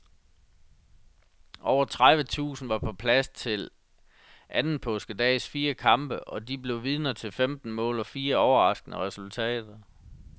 Over tredive tusinde var på plads til anden påskedags fire kampe, og de blev vidner til femten mål og fire overraskende resultater.